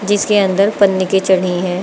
इसके अंदर पन्ने की चढ़ी है।